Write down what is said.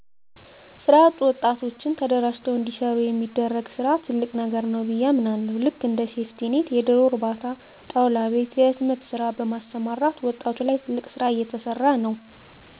ስራ ያጡ ወጣቶችን ተደራጅተዉ እንዲሰሩ የሚደረግ ስራ ትልቅ ነገር ነዉ ብየ አምናለሁ ልክ እንደ ሴፍቲኔት የደሮ እርባታ ጣዉላ ቤት የህትመት ስራ በማሰማራት ዉጣቱ ላይ ትልቅ ስራ እየተሰራ ነዉ